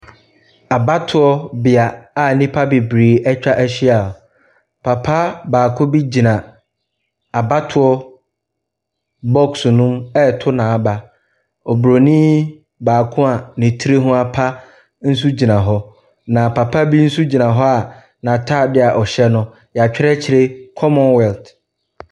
Abatoɔ bea a nnipa bebree atwa ahyi hɔ, papa baako bi gyina abatoɔ box no mu ɛreto n’aba. Obronin baako a ne ti apa nso gyina hɔ. Na papa bi nso gyina hɔ n’ataadeɛ a ɛhyɛ no no, yɛatwerɛ akyire commonwealth.